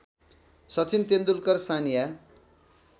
Sachin Tendulkar Sania